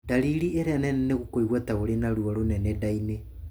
Ndariri iria nene nĩ kũigua ta ũrĩ na ruo rũnene nda-inĩ.